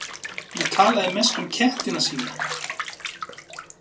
Hún talaði mest um kettina sína.